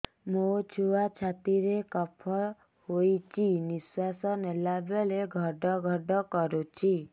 ମୋ ଛୁଆ ଛାତି ରେ କଫ ହୋଇଛି ନିଶ୍ୱାସ ନେଲା ବେଳେ ଘଡ ଘଡ କରୁଛି